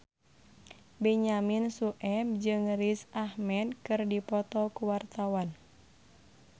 Benyamin Sueb jeung Riz Ahmed keur dipoto ku wartawan